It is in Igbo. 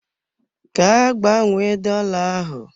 Gaa gbanwee dola ahụ!